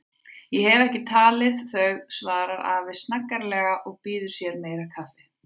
Ég hef ekki talið þau, svarar afi snaggaralega og býður sér meira kaffi.